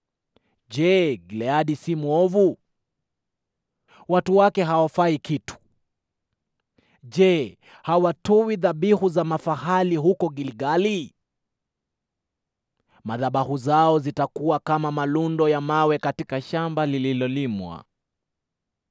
Je, Gileadi si mwovu? Watu wake hawafai kitu! Je, hawatoi dhabihu za mafahali huko Gilgali? Madhabahu zao zitakuwa kama malundo ya mawe katika shamba lililolimwa.